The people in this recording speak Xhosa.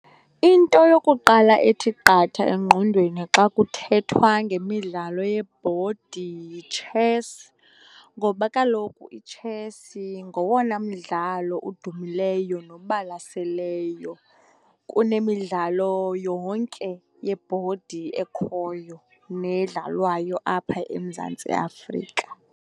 Into yokuqala ethi qatha engqondweni xa kuthethwa ngemidlalo yebhodi yitshesi, ngoba kaloku itshesi ngowona mdlalo udumileyo nobalaseleyo kunemidlalo yonke yebhodi ekhoyo nedlalwayo apha eMzantsi Afrika.